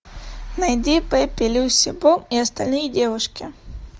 найди пепи люси бом и остальные девушки